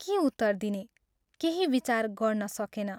के उत्तर दिने, केही विचार गर्न सकेन।